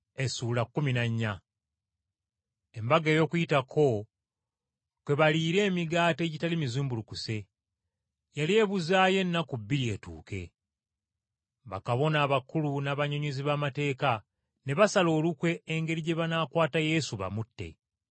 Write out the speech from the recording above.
Embaga ey’Okuyitako , kwe baliira emigaati egitali mizimbulukuse, yali ebuzaayo ennaku bbiri etuuke. Bakabona abakulu n’abannyonnyozi b’amateeka ne basala olukwe engeri gye banaakwata Yesu bamutte.